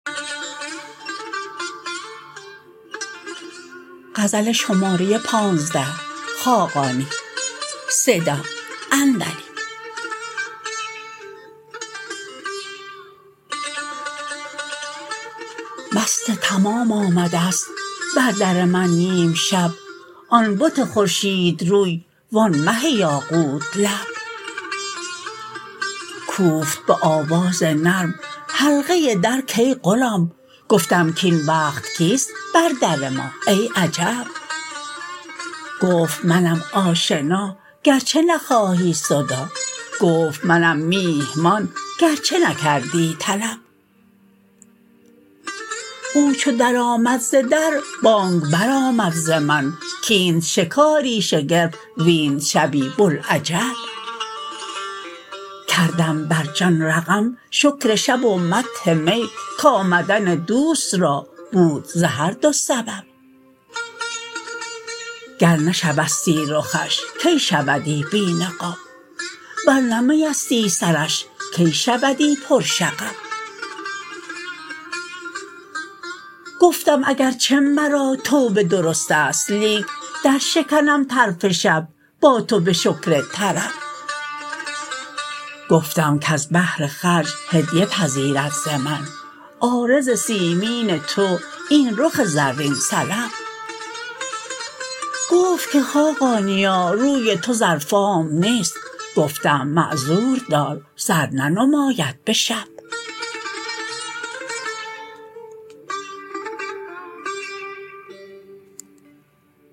مست تمام آمده است بر در من نیم شب آن بت خورشید روی وآن مه یاقوت لب کوفت به آواز نرم حلقه در کای غلام گفتم کاین وقت کیست بر در ما ای عجب گفت منم آشنا گرچه نخواهی صداع گفت منم میهمان گرچه نکردی طلب او چو در آمد ز در بانگ برآمد ز من کاینت شکاری شگرف وینت شبی بوالعجب کردم بر جان رقم شکر شب و مدح می کامدن دوست را بود ز هر دو سبب گر نه شبستی رخش کی شودی بی نقاب ور نه می استی سرش کی شودی پر شغب گفتم اگرچه مرا توبه درست است لیک درشکنم طرف شب با تو به شکر طرب گفتم کز بهر خرج هدیه پذیرد ز من عارض سیمین تو این رخ زرین سلب گفت که خاقانیا روی تو زرفام نیست گفتم معذور دار زر ننماید به شب